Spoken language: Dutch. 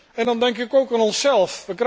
En dan denk ik ook aan onszelf.